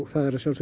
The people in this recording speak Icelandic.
það er